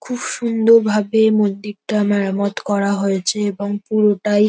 খুব সুন্দর ভাবে মন্দিরটা মেরামত করা হয়েছে এবং পুরোটাই--